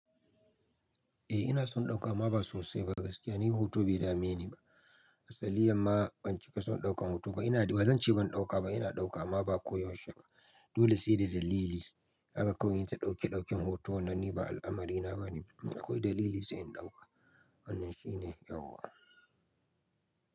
Eh ina son ɗauka amma ba sosai ba gaskiya. Ni hutu bai dame ni ba. Asaliyan ma ban cika son ɗaukan hutu ba. Ina, ba zan ce ban ɗauka ba, ina ɗauka amma ba koyaushe ba. Dole sai da dalili aka kawai inyi ta ɗauke ɗauken hoto. Wannan ni ba al'amari na ba ne. Akwai dalili sai in ɗauka. Wannan shine yawwa.